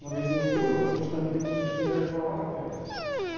в магазине беру потому что они такие какие-то рыхловатые